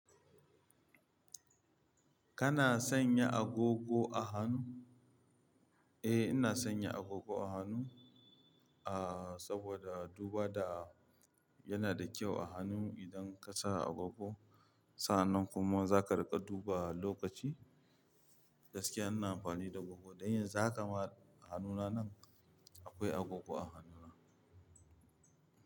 Kana sanya agogo a hannu? Eh, ina sanya agogo a hannu, ah saboda duba da yana da kyau a hannu idan ka sa agogo. Sannan kuma zaka riƙa duba lokaci. Gaskiya ina amfani da agogo. Dan yanzu haka ma hannuna nan akwai agogo a hannuna.